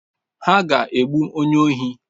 Ha ga-egbu onye ohi.